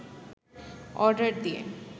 order দিয়ে